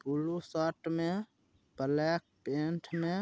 blue shirt में black pant में --